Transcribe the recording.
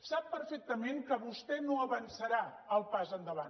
sap perfectament que vostè no avançarà el pas endavant